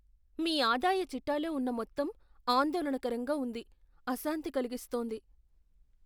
మీ ఆదాయ చిట్టాలో ఉన్న మొత్తం ఆందోళనకరంగా ఉంది, అశాంతి కలిగిస్తోంది.